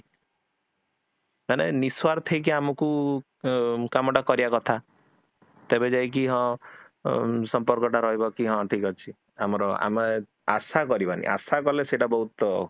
ମାନେ ନିଃସ୍ୱସ୍ୱାର୍ଥ ହେଇକି ଆମକୁ ଅ କାମଟା କରିବା କଥା ତେବେ ଯାଇକି ହଁ ଅ ସମ୍ପର୍କଟା ରହିବ କି ହଁ ଠିକ ଅଛି, ଆମର ଆମେ ଆଶା କରିବାନି ଆଶା କଲେ ସେଟା ବହୁତ ଅ